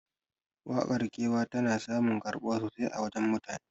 Waƙar kewa tana samun karɓuwa sosai a wajen mutane